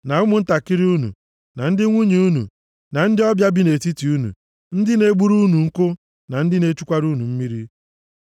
na ụmụntakịrị unu, na ndị nwunye unu, na ndị ọbịa bi nʼetiti unu, ndị na-egburu unu nkụ, na ndị na-echukwara unu mmiri. + 29:11 Nke a bụ ọrụ nleda anya nke ndị bụ ohu na-arụ. \+xt Jos 9:21,23,27\+xt*